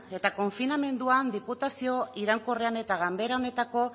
eta konfinamenduan diputazio iraunkorrean eta ganbera honetako